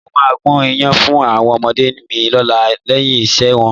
Mo máa gún iyán fún àwọn ọ̀mọ̀lé mi lọ́la lẹ́yìn iṣẹ́ wọn